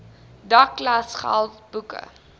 dek klasgeld boeke